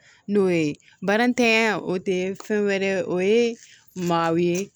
N'o ye barantanya o te fɛn wɛrɛ ye o ye maaw ye